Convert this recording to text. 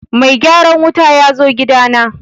mai gyaran wuta yazo gida na